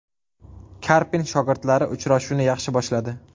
Karpin shogirdlari uchrashuvni yaxshi boshladi.